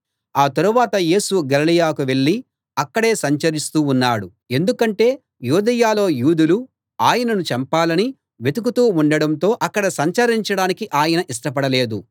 ఆ తరువాత యేసు గలిలయకు వెళ్ళి అక్కడే సంచరిస్తూ ఉన్నాడు ఎందుకంటే యూదయలో యూదులు ఆయనను చంపాలని వెతుకుతూ ఉండటంతో అక్కడ సంచరించడానికి ఆయన ఇష్టపడలేదు